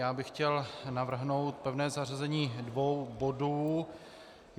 Já bych chtěl navrhnout pevné zařazení dvou bodů.